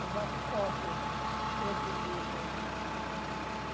Eu faço cópia, do outro livro.